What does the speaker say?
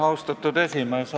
Austatud esimees!